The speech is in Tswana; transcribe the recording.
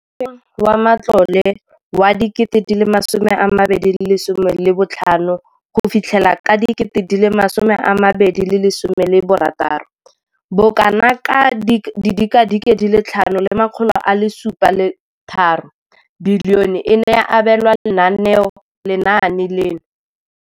Mo ngwageng wa matlole wa 2015,16, bokanaka R5 703 bilione e ne ya abelwa lenaane leno.